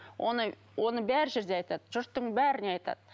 оны оны бар жерде айтады жұрттың бәріне айтады